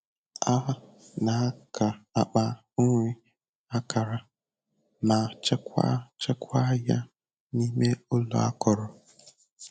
A na-aka akpa nri akara ma chekwaa chekwaa ya n'ime ụlọ akọrọ.